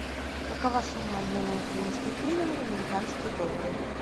какова сумма обмена украинских гривен в американские доллары